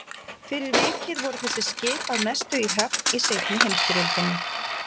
Fyrir vikið voru þessi skip að mestu í höfn í seinni heimsstyrjöldinni.